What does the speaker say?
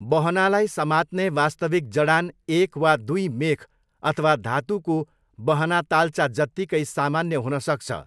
बहनालाई समात्ने वास्तविक जडान एक वा दुई मेख अथवा धातुको बहनाताल्चा जत्तिकै सामान्य हुनसक्छ।